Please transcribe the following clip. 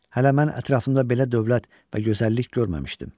Hələ mən ətrafımda belə dövlət və gözəllik görməmişdim.